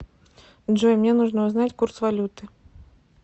джой мне нужно узнать курс валюты